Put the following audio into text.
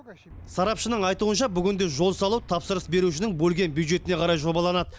сарапшының айтуынша бүгінде жол салу тапсырыс берушінің бөлген бюджетіне қарай жобаланады